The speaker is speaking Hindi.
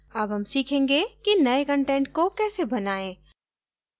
अब हम सीखेंगे कि now कंटेंट को कैसे बनाएँ